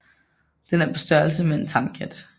Den er på størrelse med en tamkat